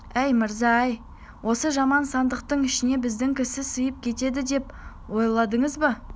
әй мырза-ай осы жаман сандықтың ішіне біздің кісі сыйып кетеді деп ойладыңыз ба